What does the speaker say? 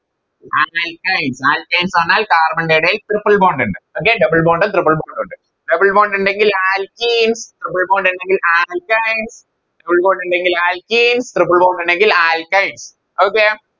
Akines ന്ന് പറഞ്ഞാൽ Carbon ൻറെ ഏടയിൽ Triple bond ഇണ്ട് Okay double bond ഉം Triple bond ഉം ഇണ്ട് Double bond ഇണ്ടങ്കിൽ Alkene ഇണ്ടങ്കിൽ Triple bond ഇണ്ടങ്കിൽ Alkine Double bond ഇണ്ടങ്കിൽ Alkene triple bond ഇണ്ടങ്കിൽ Alkine